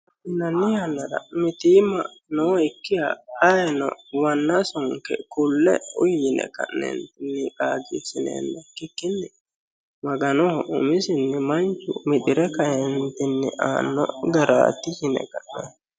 Mitimma noyikkiha ayeeno manna sunqe kae uyi yineenna ikkikkinni Maganoho manchu umisinni mixire kaentenni aano garati yine ka'nentinni.